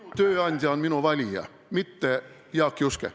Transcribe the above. Minu tööandja on minu valija, mitte Jaak Juske.